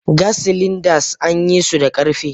Gas cylinders an yi su da karfe.